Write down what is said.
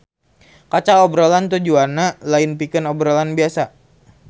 Kaca obrolan tujuanna lain pikeun obrolan biasa